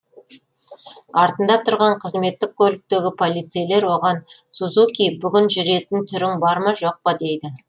артында тұрған қызметтік көліктегі полицейлер оған сузуки бүгін жүретін түрің бар ма жоқ па дейді